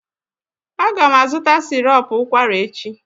Aga m azụta sịrọp ụkwara echi